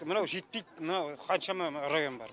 мынау жетпейді мынау қаншама район бар